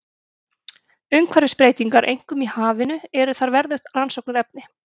Umhverfisbreytingar, einkum í hafinu, eru þar verðugt rannsóknarefni.